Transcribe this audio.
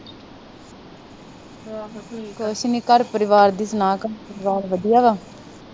ਕੁਛ ਨੀ, ਘਰ ਪਰਿਵਾਰ ਦੀ ਸੁਣਾ, ਘਰ ਪਰਿਵਾਰ ਵਧੀਆ ਵਾ,